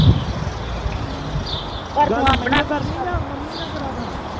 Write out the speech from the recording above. ਹਮ ਗੱਲ ਮੇਇਓ ਕਰਨੀ ਜਾ ਮੰਮੀ ਨਾ ਕਰਾਂਦਾ